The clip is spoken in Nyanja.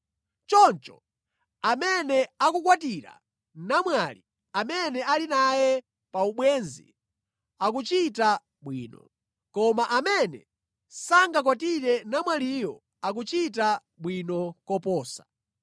Choncho amene akukwatira namwali amene ali naye pa ubwenzi, akuchita bwino, koma amene sangakwatire namwaliyo akuchita bwino koposa.